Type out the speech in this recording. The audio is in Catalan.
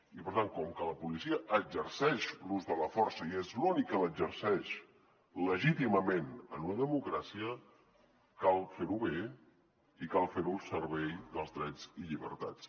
i per tant com que la policia exerceix l’ús de la força i és l’únic que l’exerceix legítimament en una democràcia cal fer ho bé i cal fer ho al servei dels drets i llibertats